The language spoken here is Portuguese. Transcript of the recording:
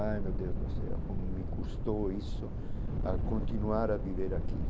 Ai meu Deus do céu, como me custou isso a continuar a viver aqui.